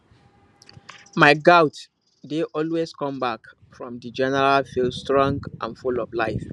my goat dey always come back from the general field strong and full of life